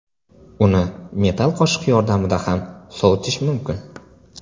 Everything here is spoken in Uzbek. Uni metall qoshiq yordamida ham sovitish mumkin.